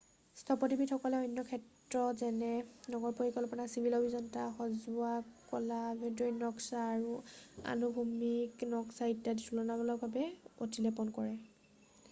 স্থপতিবিদসকলে অন্য ক্ষেত্ৰ যেনে নগৰ পৰিকল্পনা চিভিল অভিয়ন্তা সজোৱা কলা আভ্যন্তৰীণ নক্সা আৰু অনুভূমিক নক্সা ইত্যাদিত তুলনামূলকভাৱে অতিলেপন কৰে